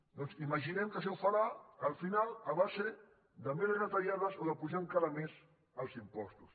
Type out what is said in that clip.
doncs imaginem que això ho farà al final a base de més retallades o d’apujar encara més els impostos